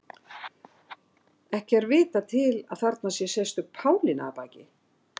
ekki er vitað til að þarna sé sérstök pálína að baki